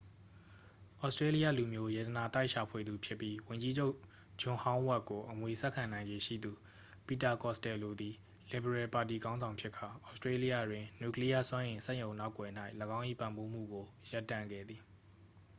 သြစတြေးလျလူမျိုး ရတနာသိုက်ရှာဖွေသူဖြစ်ပြီး ဝန်ကြီးချုပ် ဂျွန်ဟောင်းဝက်ကို အမွေဆက်ခံနိုင်ခြေရှိသူ ပီတာ ကော့စတယ်လိုသည် လစ်ဗရယ်ပါတီခေါင်းဆောင်ဖြစ်ကာ သြစတြေးလျတွင် နျူကလီးယား စွမ်းအင် စက်ရုံနောက်ကွယ်၌ ၎င်း၏ ပံ့ပိုးမှုကို ရပ်တန့်ခဲ့သည်